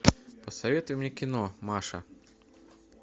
посоветуй мне кино маша